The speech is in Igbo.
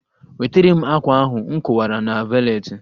Wetere m ákwà ahụ nkowara na valetị